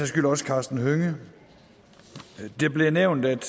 skyld også karsten hønge det blev nævnt at